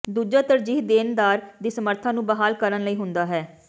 ਦੂਜਾ ਤਰਜੀਹ ਦੇਣਦਾਰ ਦੀ ਸਮਰੱਥਾ ਨੂੰ ਬਹਾਲ ਕਰਨ ਲਈ ਹੁੰਦਾ ਹੈ